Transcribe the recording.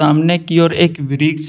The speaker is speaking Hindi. सामने की ओर एक वृक्ष है।